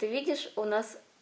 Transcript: ты видишь у нас